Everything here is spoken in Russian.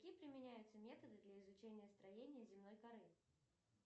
какие применяются методы для изучения строения земной коры